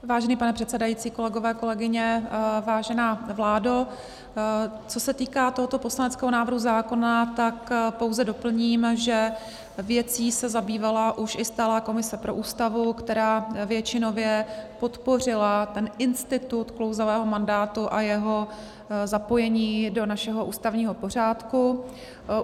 Vážený pane předsedající, kolegové, kolegyně, vážená vládo, co se týká tohoto poslaneckého návrhu zákona, tak pouze doplním, že věcí se zabývala už i stálá komise pro Ústavu, která většinově podpořila ten institut klouzavého mandátu a jeho zapojení do našeho ústavního pořádku.